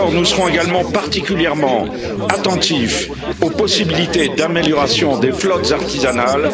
Nous serons également particulièrement attentifs aux possibilités d'amélioration des flottes artisanales.